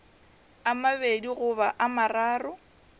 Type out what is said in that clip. a mabedi goba a mararo